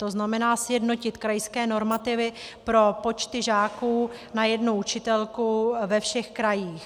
To znamená, sjednotit krajské normativy pro počty žáků na jednu učitelku ve všech krajích.